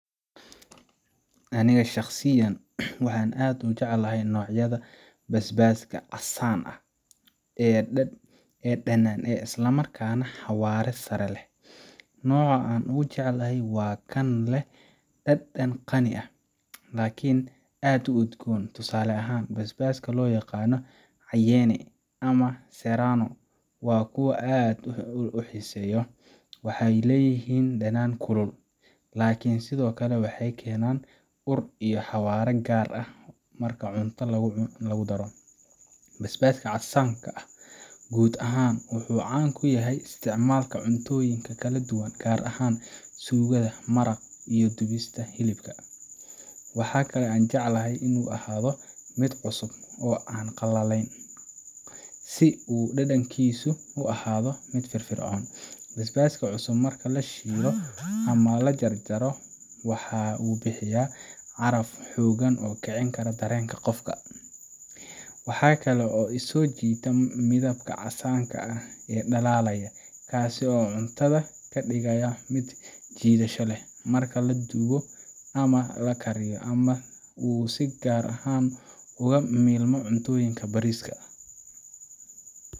Aniga shakhsiyan, waxaan aad ugu jecelahay noocyada basbaaska casaanka ah ee dhanaan isla markaana xawaare sare leh. Nooca aan ugu jecelahay waa kan leh dhadhan qani ah, laakiin aan aad u udgoon. Tusaale ahaan, basbaaska loo yaqaan cayenne ama serrano waa kuwo aan aad u xiiseeyo. Waxay leeyihiin dhadhan kulul, laakiin sidoo kale waxay keenaan ur iyo xawaare gaar ah marka cuntada lagu daro. Basbaaska casaanka ah guud ahaan wuxuu caan ku yahay isticmaalka cuntooyinka kala duwan, gaar ahaan suugada, maraqa iyo dubista hilibka. Waxa kale aan jecelahay in uu ahaado mid cusub, oo aan qallayn ahayn, si uu dhadhankiisu u ahaado mid firfircoon. Basbaaska cusub marka la shiido ama la jarjaro, waxa uu bixiyaa caraf xooggan oo kicin kara dareenka qofka. Waxa kale oo i soo jiita midabka casaanka ah ee dhalaalaya, kaas oo cuntada ka dhigaya mid soo jiidasho leh. Marka la dubo ama la kariyo, waxa uu si gaar ah ugu milmo cuntooyinka bariiska